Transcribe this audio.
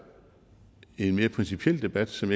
en mere principiel debat som